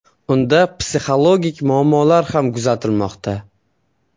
Unda psixologik muammolar ham kuzatilmoqda.